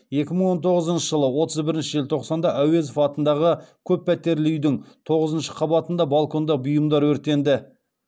екі мың он тоғызыншы жылы отыз бірінші желтоқсанда әуезов атындағы көппәтерлі үйдің тоғызыншы қабатында балконда бұйымдар өртенді